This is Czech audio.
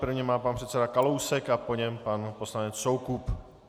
První má pan předseda Kalousek a po něm pan poslanec Soukup.